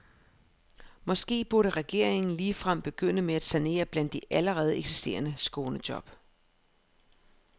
Måske burde regeringen ligefrem begynde med at sanere blandt de allerede eksisterende skånejob.